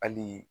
Hali